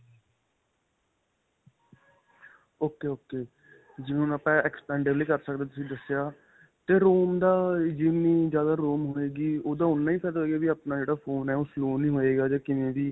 ok ok. ਜਿਵੇਂ ਹੁਣ ਆਪਾਂ expandable ਕਰ ਸਕਦੇ ਹਾਂ ਤੁਸੀਂ ਦੱਸਿਆ ਤੇ ROM ਦਾ ਜਿੰਨੀ ਜਿਆਦਾ ROM ਹੋਵੇਗੀ ਓਹਦਾ ਉਨਾਂ ਹੀ ਫਾਇਦਾ ਹੋਏਗਾ ਕੀ ਆਪਣਾ ਜਿਹੜਾ phone ਆ ਓਹ slow ਨਹੀਂ ਹੋਏਗਾ ਜਾਂ ਕਿਵੇਂ ਵੀ